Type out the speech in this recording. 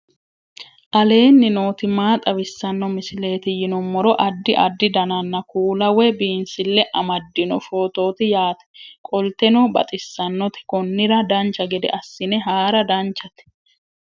aleenni nooti maa xawisanno misileeti yinummoro addi addi dananna kuula woy biinsille amaddino footooti yaate qoltenno baxissannote konnira dancha gede assine haara danchate